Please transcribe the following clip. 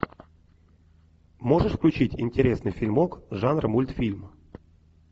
можешь включить интересный фильмок жанра мультфильм